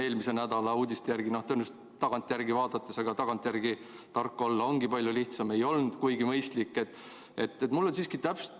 Eelmise nädala uudiste järgi tagantjärele vaadates – aga tagantjärele tark olla ongi palju lihtsam – see tõenäoliselt ei olnud kuigi mõistlik.